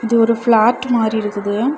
இது ஒரு ஃபாளார்ட் மாரி இருக்குது.